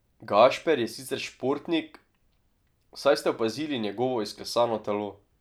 Gašper je sicer športnik, saj ste opazili njegovo izklesano telo.